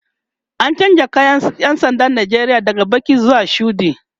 an chanza kayan ƴan sandan Nigeria daga Baki zuwa shuɗi